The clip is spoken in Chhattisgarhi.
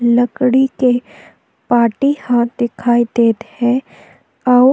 लकड़ी के पाटी ह दिखाई देत हे अउ--